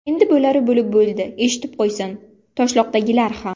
Endi bo‘lari bo‘lib bo‘ldi, eshitib qo‘ysin Toshloqdagilar ham.